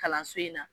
Kalanso in na